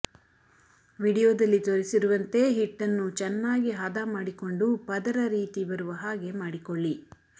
ವಿಡಿಯೋದಲ್ಲಿ ತೋರಿಸಿರುವಂತೆ ಹಿಟ್ಟನ್ನು ಚೆನ್ನಾಗಿ ಹದ ಮಾಡಿಕೊಂಡು ಪದರ ರೀತಿ ಬರುವ ಹಾಗೆ ಮಾಡಿಕೊಳ್ಳಿ